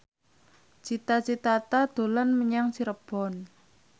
Cita Citata dolan menyang Cirebon